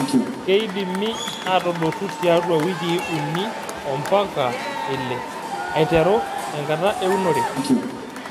Keidimi atadotu tiatua wikii uni ompaka ile aiteru tenkata eunore.